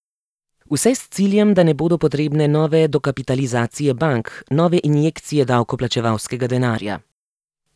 Vse s ciljem, da ne bodo potrebne nove dokapitalizacije bank, nove injekcije davkoplačevalskega denarja.